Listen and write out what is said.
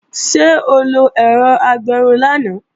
Ṣé o lo ẹ̀rọ agbẹrun lánàá?